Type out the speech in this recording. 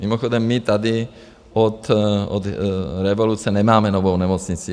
Mimochodem my tady od revoluce nemáme novou nemocnici.